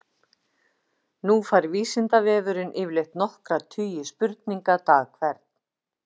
Nú fær Vísindavefurinn yfirleitt nokkra tugi spurninga dag hvern.